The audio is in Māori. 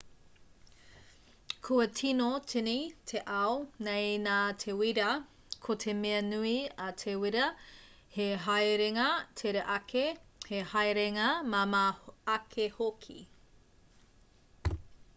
kua tīno tīni te ao nei nā te wīra ko te mea nui a te wīra he haerenga tere ake he haerenga māmā ake hoki